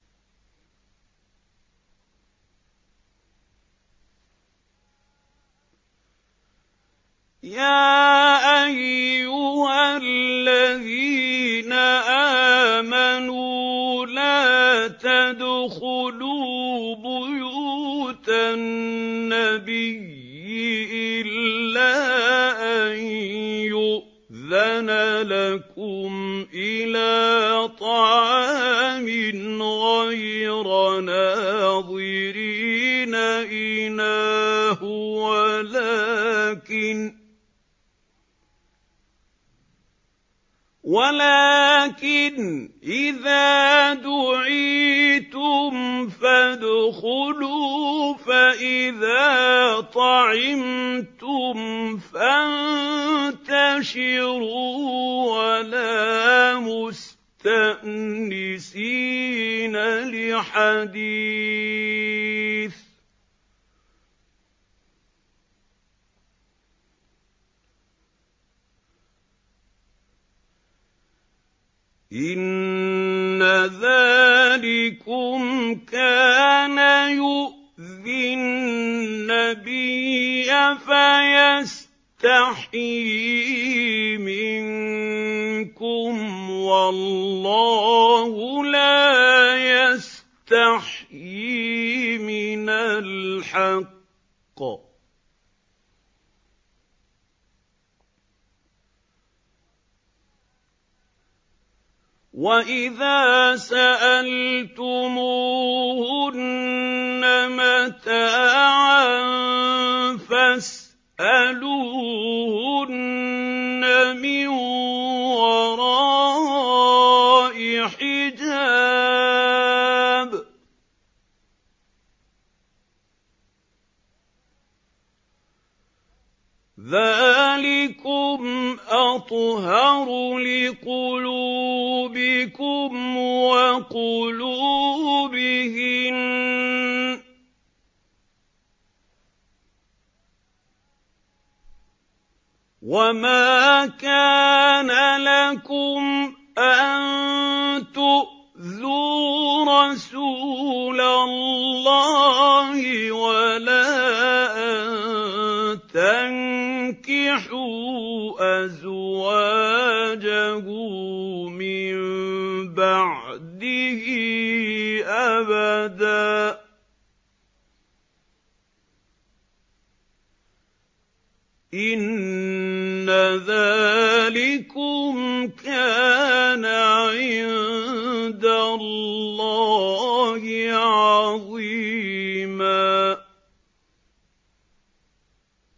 يَا أَيُّهَا الَّذِينَ آمَنُوا لَا تَدْخُلُوا بُيُوتَ النَّبِيِّ إِلَّا أَن يُؤْذَنَ لَكُمْ إِلَىٰ طَعَامٍ غَيْرَ نَاظِرِينَ إِنَاهُ وَلَٰكِنْ إِذَا دُعِيتُمْ فَادْخُلُوا فَإِذَا طَعِمْتُمْ فَانتَشِرُوا وَلَا مُسْتَأْنِسِينَ لِحَدِيثٍ ۚ إِنَّ ذَٰلِكُمْ كَانَ يُؤْذِي النَّبِيَّ فَيَسْتَحْيِي مِنكُمْ ۖ وَاللَّهُ لَا يَسْتَحْيِي مِنَ الْحَقِّ ۚ وَإِذَا سَأَلْتُمُوهُنَّ مَتَاعًا فَاسْأَلُوهُنَّ مِن وَرَاءِ حِجَابٍ ۚ ذَٰلِكُمْ أَطْهَرُ لِقُلُوبِكُمْ وَقُلُوبِهِنَّ ۚ وَمَا كَانَ لَكُمْ أَن تُؤْذُوا رَسُولَ اللَّهِ وَلَا أَن تَنكِحُوا أَزْوَاجَهُ مِن بَعْدِهِ أَبَدًا ۚ إِنَّ ذَٰلِكُمْ كَانَ عِندَ اللَّهِ عَظِيمًا